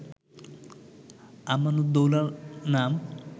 আমানুদ্দৌলা নাম